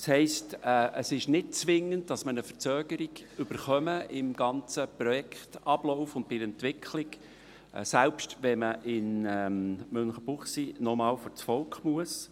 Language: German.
Das heisst, es ist nicht zwingend, dass es im ganzen Projektablauf und bei der Entwicklung eine Verzögerung gibt, selbst dann nicht, wenn man in Münchenbuchsee noch einmal vors Volk muss.